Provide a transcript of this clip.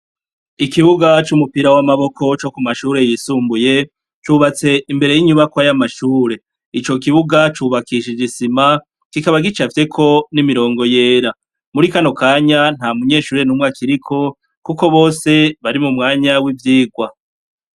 Ikibuga c’umupira w’amaboko co kumashure yisumbuye cubatse imbere yinyubakwa y’amashure, ico kibuga cubakishije isima kikaba gicafyeko n’imirongo yera, muri kano kanya ntamunyeshure numwe akiriko kuko bose bari mumwanya wivyigwa.